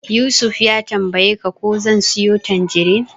Yusuf ya tambayeni ko zan siyo tanjirin.